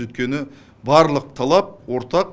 өйткені барлық талап ортақ